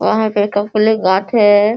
वहाँ पे गाछ है।